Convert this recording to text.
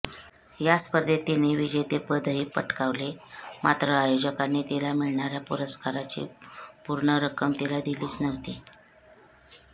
या स्पर्धेत तिने विजेतेपदही पटकावले मात्र आयोजकांनी तिला मिळणाऱ्या पुरस्काराची पूर्ण रक्कम तिला दिलीच नव्हती